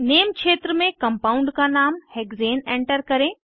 name क्षेत्र में compound का नाम हेक्सेन एंटर करें